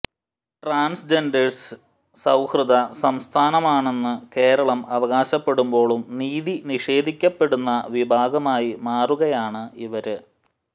transgenders സൌഹൃദ സംസ്ഥാനമാണെന്ന് കേരളം അവകാശപ്പെടുമ്പോഴും നീതി നിഷേധിക്കപ്പെടുന്ന വിഭാഗമായി മാറുകയാണ് ഇവര്